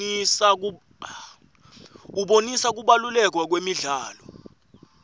abonisa kubaluleka kwemidlalo